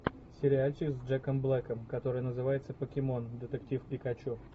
сериальчик с джеком блэком который называется покемон детектив пикачу